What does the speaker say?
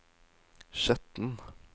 Skjetten